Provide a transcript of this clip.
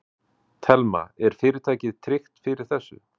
Telma: Er fyrirtækið tryggt fyrir þessu?